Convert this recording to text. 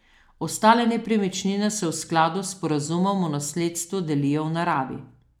Ostale nepremičnine se v skladu s sporazumom o nasledstvu delijo v naravi.